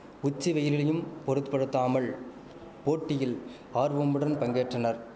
உச்சிவெயிலிலியும் பொருத்படுத்தாமல் போட்டியில் ஆர்வமுடன் பங்கேற்றனர்